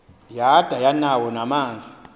yada yanawo namanzi